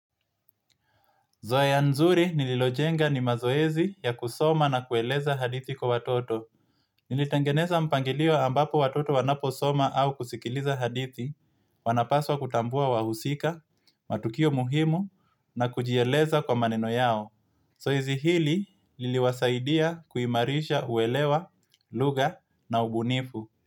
Zoea nzuri nililojenga ni mazoezi ya kusoma na kueleza hadithi kwa watoto. Nilitengeneza mpangilio ambapo watoto wanaposoma au kusikiliza hadithi, wanapaswa kutambua wahusika, matukio muhimu na kujieleza kwa maneno yao. Zoezi hili liliwasaidia kuimarisha uelewa, lugha na ubunifu.